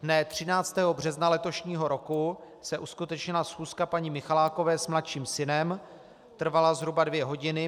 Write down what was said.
Dne 13. března letošního roku se uskutečnila schůzka paní Michalákové s mladším synem, trvala zhruba dvě hodiny.